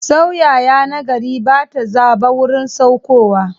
Sauyayya na gari ba ta zaba wurin saukowa.